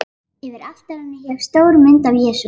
Yfir altarinu hékk stór mynd af Jesú.